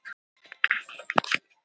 Skil þig- muldraði Valdimar.